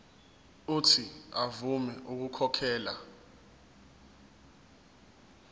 uuthi avume ukukhokhela